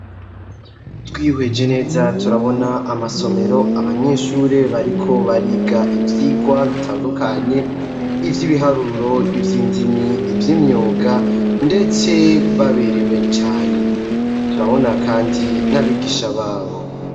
Twihweje neza turabona amasomero, abanyeshure bariko bariga ivyigwa bitandukanye ivy'ibiharuro ibyindimi iby'imyuga ndetse baberewe cyane turabona kandi n'abigisha babo.